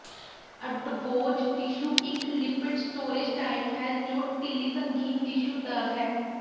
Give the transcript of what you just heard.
ਅਡਵੋਜ tissue ਇਕ lipid storage type ਹੈ ਜੋ ਢਿੱਲੀ ਸੰਗੀਨ ਟਿਸ਼ੂ ਦਾ ਹੈ